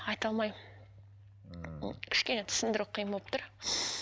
айта алмаймын ммм кішкене түсіндіру қиын болып тұр